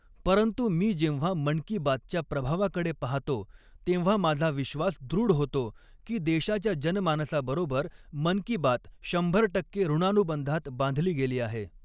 परंतु मी जेव्हा मन की बात च्या प्रभावाकडे पाहतो, तेव्हा माझा विश्वास दृढ होतो की, देशाच्या जनमानसाबरोबर मन की बात शंभर टक्के ॠणानुबंधात बांधली गेली आहे.